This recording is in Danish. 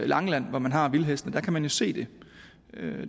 langeland hvor man har vildhestene der kan man jo se det